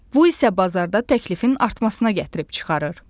Bu isə bazarda təklifin artmasına gətirib çıxarır.